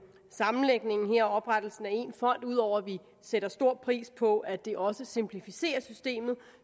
sammenlægningen og oprettelsen af én fond ud over at vi sætter stor pris på at det også simplificerer systemet